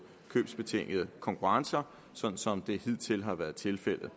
købsbetingede konkurrencer sådan som det hidtil har været tilfældet